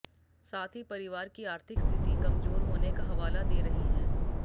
साथ ही परिवार की आर्थिक स्थिति कमजोर होने का हवाला दे रही हैं